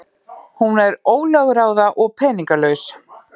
Hún er ólögráða og peningalaus.